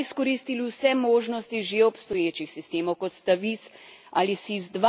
Smo izkoristili vse možnosti že obstoječih sistemov, kot sta VIS ali SIS II?